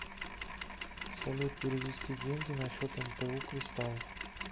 салют перевести деньги на счет мту кристалл